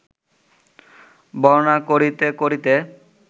বর্ণনা করিতে করিতে